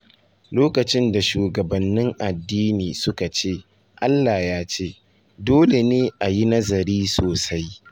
Lokacin da shugabannin addini suka ce “Allah ya ce,” dole ne a yi nazari sosai.